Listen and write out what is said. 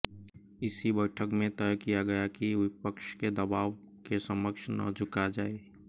इसी बैठक में तय किया गया कि विपक्ष के दबाव के समक्ष न झुका जाये